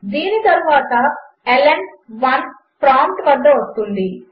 దీనితరువాత In1 ప్రాంప్ట్వస్తుంది